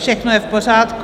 Všechno je v pořádku?